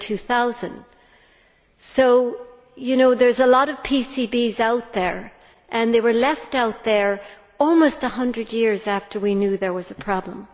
2000. So there are a lot of PCBs out there and they were left out there almost 100 years after we knew there was a problem.